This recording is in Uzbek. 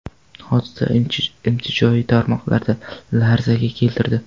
Hodisa ijtimoiy tarmoqlarni larzaga keltirdi.